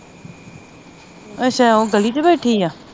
ਅੱਛਾ ਉਹ ਗਲੀ ਚ ਬੈਠੀ ਆ